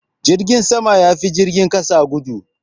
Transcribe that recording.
Jirgin sama ya fi jirgin kasa gudu.